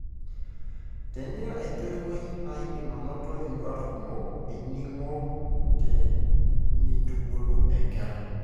tenira entoiwuoi, na indim anot induat kumok eningo tenintubulu enkerai